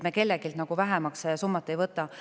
Me kelleltki vähemaks ei võta.